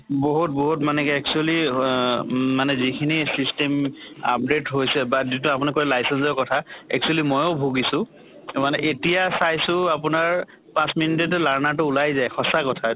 বহুত বহুত মানে actually অহ উম মানে যিখিনি system update হৈছে বা যোন টো আপুনি কলে license ৰ কথা actually ময়ো ভুগিছো । মানে এতিয়া চাইছো আপোনাৰ পাছ minute তে learners টো ওলাই যায়। সঁচা কথা